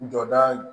Jɔda